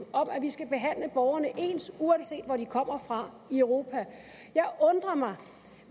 om at vi skal behandle borgerne ens uanset hvor de kommer fra i europa jeg undrer mig